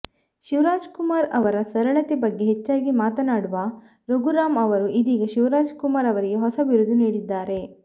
ಶಿವರಾಜಕುಮಾರ್ ಅವರ ಸರಳತೆ ಬಗ್ಗೆ ಹೆಚ್ಚಾಗಿ ಮಾತನಾಡುವ ರಘುರಾಮ್ ಅವರು ಇದೀಗ ಶಿವರಾಜಕುಮಾರ್ ಅವರಿಗೆ ಹೊಸ ಬಿರುದು ನೀಡಿದ್ದಾರೆ